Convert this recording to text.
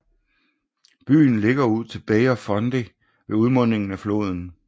Byen ligger ud til Bay of Fundy ved udmundingen af floden St